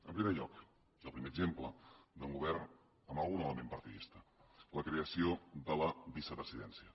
en primer lloc i el primer exemple d’un govern amb algun element partidista la creació de la vicepresidència